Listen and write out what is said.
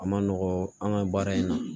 A ma nɔgɔn an ka baara in na